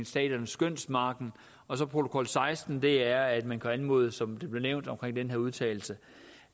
staternes skønsmargin og protokol seksten er at man kan anmode som det blev nævnt omkring den her udtalelse